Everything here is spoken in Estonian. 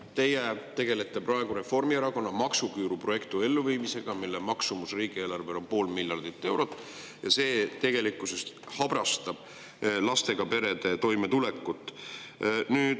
Teie tegelete praegu Reformierakonna maksuküüru projekti elluviimisega, mille riigieelarvele on 0,5 miljardit eurot, ja see tegelikkuses habrastab lastega perede toimetulekut.